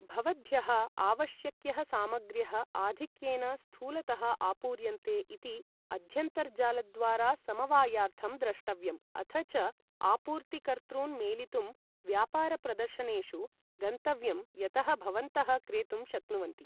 भवद्भ्यः आवश्यक्यः सामग्र्यः आधिक्येन स्थूलतः आपूर्यन्ते इति अध्यन्तर्जालद्वारा समवायार्थं द्रष्टव्यम् अथ च आपूर्तिकर्तॄन् मेलितुं व्यापारप्रदर्शनेषु गन्तव्यं यतः भवन्तः क्रेतुं शक्नुवन्ति।